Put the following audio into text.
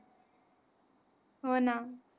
होणा.